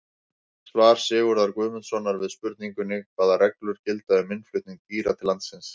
Svar Sigurðar Guðmundssonar við spurningunni Hvaða reglur gilda um innflutning dýra til landsins?